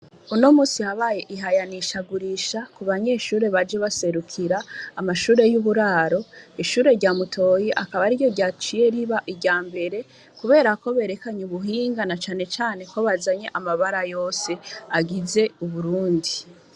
Unomusi habaye ihayanisha gurisha kubanyeshure baje baserukira amshure yuburaro ishure rya mutoyi akaba ariryo racine riba iryambere kubera berekanye ubuhinga na cane cane bazanye amabara yose agize uburundi .